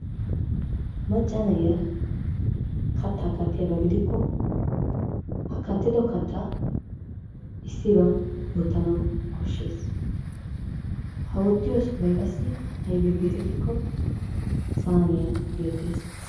Macca na'iya kattaa kattiyaba gidikko ha kattido kattaa issiban wottanawu koshshees. Ha wottiyobay qassi aybee geetettikko saaniya geettees.